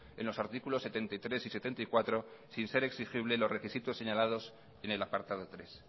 en los artículos setenta y tres y setenta y cuatro sin ser exigible los requisitos señalados en el apartado tres